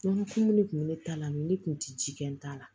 Kun de kun bɛ ne ta la ni ne kun tɛ ji kɛ n ta la